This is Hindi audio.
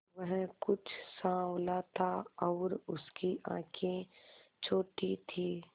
वह कुछ साँवला था और उसकी आंखें छोटी थीं